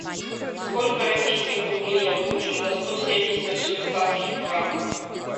сколько российских рублей я получу за сто семьдесят швейцарских франков